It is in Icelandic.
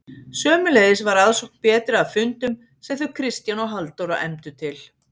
Sömuleiðis var aðsókn betri að fundum sem þau Kristján og Halldóra efndu til.